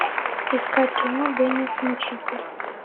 искать кино деннис мучитель